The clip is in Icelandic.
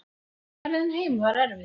Ferðin heim var erfið.